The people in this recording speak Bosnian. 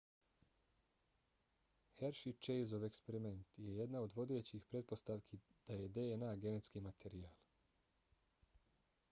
hershey-chaseov eksperiment je jedna od vodećih pretpostavki da je dna genetski materijal